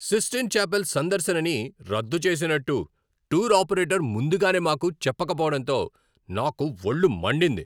Cystine Chapel సందర్శనని రద్దు చేసినట్టు టూర్ ఆపరేటర్ ముందుగానే మాకు చెప్పకపోవడంతో నాకు ఒళ్ళు మండింది.